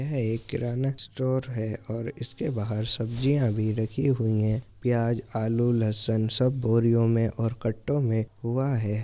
ये एक किराना स्टोर है और इसके बहार सब्जियां भी रखी हुई हैंप्याज आलू लसन सब बोरियों में और कट्टों में हुवा है।